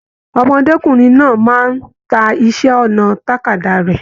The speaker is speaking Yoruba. Ọmọdékunrin náà máa n tá iṣẹ ọnà tàkádá rẹ.